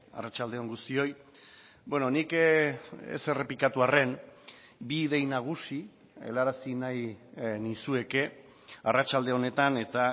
arratsalde on guztioi nik ez errepikatu arren bi idei nagusi helarazi nahi nizueke arratsalde honetan eta